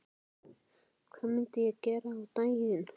Hvað myndi ég gera á daginn?